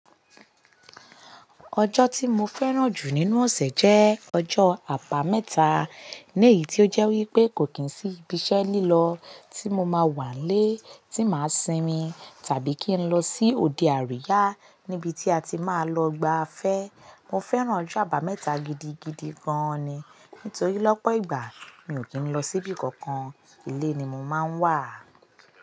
Ọjọ́ tí mo fẹ́ràn jù nínú ọ̀sẹ̀ jẹ́ ọjọ́ àbámẹ́ta. Ní èyí tí ó jẹ́ wípé kò kí ń sí ibi iṣẹ́ lílọ tí mo máa wà lé, tí màá sinmi tàbí kí n lọ sí òde àríyá níbi tí a ti máa lọ gba afẹ́. Mo fẹ́ràn ọjọ́ àbámẹ́ta gidigidi gan ni. Nítorí lọ́pọ̀ ìgbà mi ò kí ń lọ síbi kankan, ilé ni mo máa ń wà.